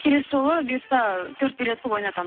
келесі жолы бұйырса төрт билет қылып